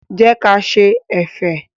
Jẹ́ ka ṣe ẹ̀fẹ̀.